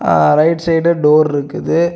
ஆ right side door இருக்குது.